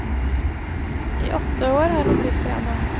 I åtte år har han spilt piano.